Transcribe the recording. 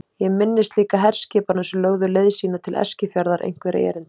Ég minnist líka herskipanna sem lögðu leið sína til Eskifjarðar einhverra erinda.